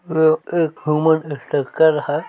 ओ एक human structure है।